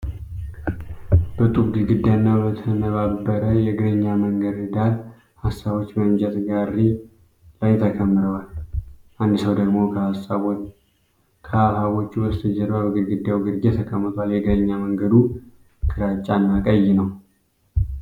በጡብ ግድግዳና በተነባበረ የእግረኛ መንገድ ዳር፣ ሃባቦች በእንጨት ጋሪ ላይ ተከምረዋል። አንድ ሰው ደግሞ ከሃባቦቹ በስተጀርባ በግድግዳው ግርጌ ተቀምጧል። የእግረኛ መንገዱ ግራጫና ቀይ ነው።